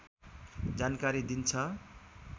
जानकारी दिन्छ